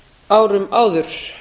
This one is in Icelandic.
árum áður